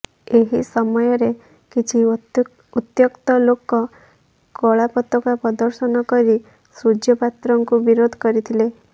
ଏହି ସମୟରେ କିଛି ଉତ୍ତ୍ୟକ୍ତ ଲୋକ କଳାପତାକା ପ୍ରଦର୍ଶନ କରି ସୂର୍ଯ୍ୟ ପାତ୍ରଙ୍କୁ ବିରୋଧ କରିଥିଲେ